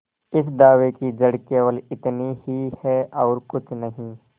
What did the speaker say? इस दावे की जड़ केवल इतनी ही है और कुछ नहीं